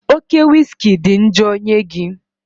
Oke wiski adịghị njọ nye gị